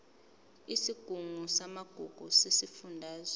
isigungu samagugu sesifundazwe